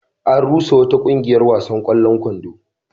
An rusa wata ƙungiyar wasan ƙwallon kwando.